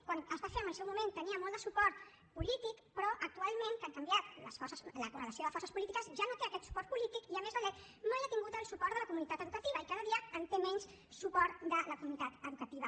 quan es va fer en el seu moment tenia molt de suport polític però actualment que ha canviat la correlació de forces polítiques ja no té aquest suport polític i a més la lec mai ha tingut el suport de la comunitat educativa i cada dia té menys suport de la comunitat educativa